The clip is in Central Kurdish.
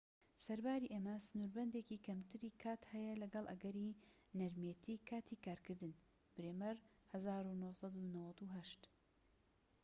سەرباری ئەمە سنوربەندێکی کەمتری کات هەیە لەگەڵ ئەگەری نەرمێتیی کاتی کارکردن. برێمەر، ١٩٩٨